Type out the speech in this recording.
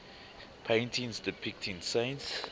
paintings depicting saints